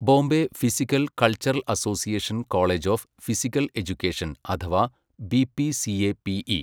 Bombay physical culture association college of physical education അഥവാ B P C A P E